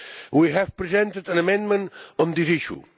We have presented an amendment on this issue.